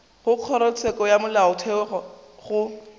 go kgorotsheko ya molaotheo go